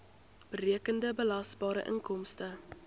berekende belasbare inkomste